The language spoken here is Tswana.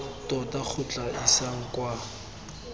tota go tla isang kwa